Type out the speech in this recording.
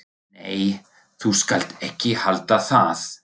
Nei, þú skalt ekki halda það!